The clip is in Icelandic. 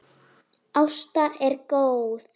Ásta er góð.